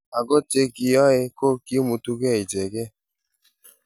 Ako che kiyooe ko kimutukee ichekei.